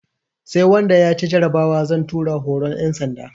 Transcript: Sai wanda ya ci jarabawa zan tura horon ƴan sanda